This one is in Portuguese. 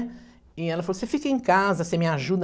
E ela falou, você fica em casa, você me ajuda.